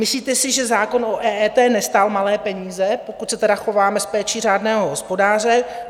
Myslíte si, že zákon o EET nestál malé peníze, pokud se tedy chováme s péčí řádného hospodáře?